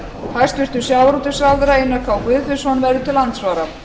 hæstvirtur sjávarútvegsráðherra einar k guðfinnsson verður til andsvara